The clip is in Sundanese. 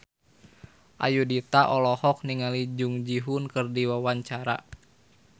Ayudhita olohok ningali Jung Ji Hoon keur diwawancara